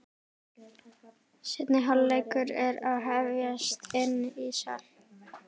Seinni hálfleikur er að hefjast inni í sal.